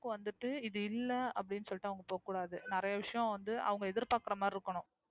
வந்துட்டு, இது இல்ல அப்டினு சொல்லிட்டு அவங்க போகக்கூடாது. நிறைய விஷயம் வந்து அவங்க எதிர்பார்க்கிற மாறி இருக்கணும்.